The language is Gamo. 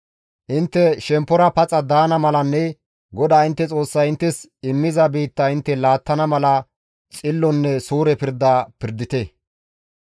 Intte shemppora paxa daana malanne GODAA intte Xoossay inttes immiza biitta intte laattana mala xillonne suure pirda pirdite.